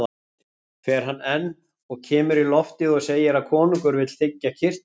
Fer hann enn og kemur í loftið og segir að konungur vill þiggja kyrtilinn.